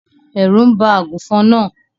Ẹrú ń bá àgùnfòn náà.